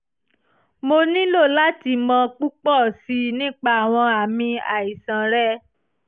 mo nílò láti mọ púpọ̀ sí i nípa àwọn àmì àìsàn rẹ